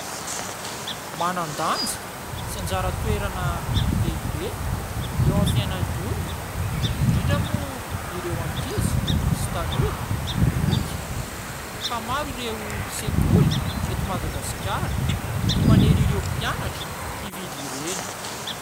Manan-danja sy anjara toerana lehibe eo aminy fiainan'ny olona - indrindra moa ireo ankizy sy tanora - ny boky; ka maro ireo sekoly eto Madagasikara no manery ireo mpianatra hividy ireny.